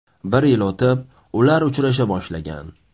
Bir yil o‘tib, ular uchrasha boshlagan.